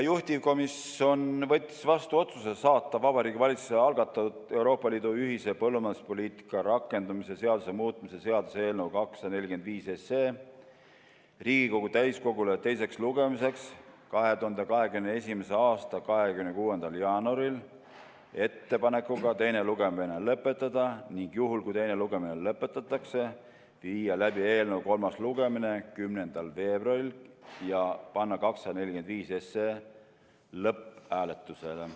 Juhtivkomisjon võttis vastu otsuse saata Vabariigi Valitsuse algatatud Euroopa Liidu ühise põllumajanduspoliitika rakendamise seaduse muutmise seaduse eelnõu 245 Riigikogu täiskogule teiseks lugemiseks 2021. aasta 26. jaanuariks ettepanekuga teine lugemine lõpetada, ning juhul kui teine lugemine lõpetatakse, viia läbi eelnõu kolmas lugemine 10. veebruaril ja panna 245 lõpphääletusele.